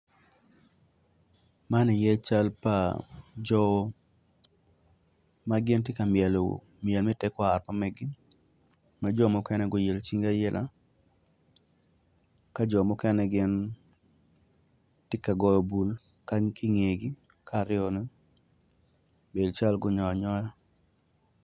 Man ye cal pa jo ma gitye ka myelo myel me tekwaro ma meggi ma jo mukene guilo cingi aila ka jo mukene gin gitye ka goyo bul ki i ngegi bedo calo gunyongangyoga.